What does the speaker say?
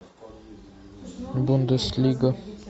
бундеслига